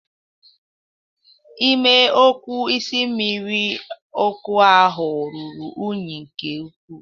Ime okuu isi mmiri ọkụ ahụ ruru unyi nke ukwu.